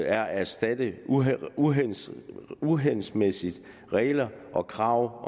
er at erstatte uhensigtsmæssige uhensigtsmæssige regler og krav og